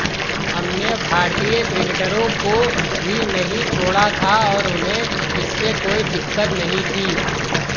हमने भारतीय क्रिकेटरों को भी नहीं छोड़ा था और उन्हें इससे कोई दिक्कत नहीं थी